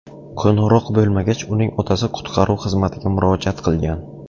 Qo‘ng‘iroq bo‘lmagach, uning otasi qutqaruv xizmatiga murojaat qilgan.